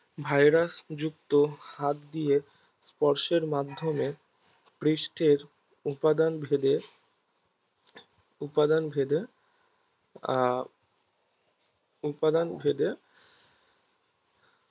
ভাইরাসযুক্ত হাত দিয়ে স্পর্শের মাধ্যমে পৃষ্ঠের উপাদানভেদে উপাদানভেদে আহ উপাদানভেদে